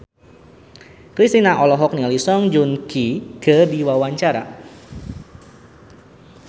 Kristina olohok ningali Song Joong Ki keur diwawancara